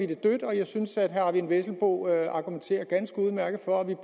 det dødt og jeg synes at herre eigil vesselbo argumenterer ganske udmærket for at vi